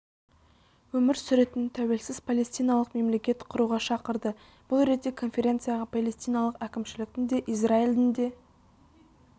өмір сүретін тәуелсіз палестиналық мемлекет құруға шақырды бұл ретте конференцияға палестиналық әкімшіліктің де израильдің де